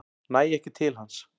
Næ ekki til hans.